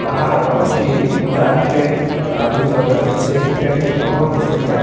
पहाड़ बहुत ही ऊंचा हिके आदमी सब के नीचे हिके बहुत ही सुन्दर --